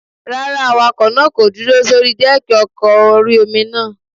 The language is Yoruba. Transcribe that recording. Rárá, awakọ̀ náà kò dúró sórí dẹ́ẹ̀kì ọkọ̀ orí-omi náà